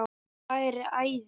Það væri æði